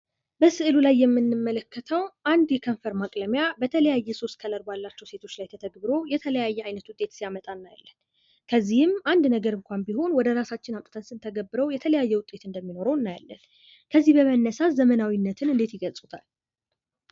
በምስሉ ላይ የምንመለከተው አንድ የከንፈር ማቅለሚያ በተለያየ ሶስት ከለር ባለችው ሴቶች ላይ ተተግብሮ የተለያየ አይነት ውጤት ሲያመጣ እናያለን። ከዚህም አን ነገር እንኳን ቢሆን ወደራሳችን አምጥተን ስንተገብረው የተለያየ አይነት ውጤት እንደሚኖረው እናያለን። ከዚህ በመነሳት ዘመናዊነትን እንደት ይገልጹታል?